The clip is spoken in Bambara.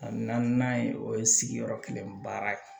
A na na n'a ye o ye sigiyɔrɔ kelen baara ye